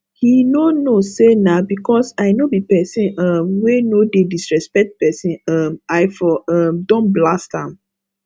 he no know say nah because i no be person um wey no dey disrespect person um i for um don blast am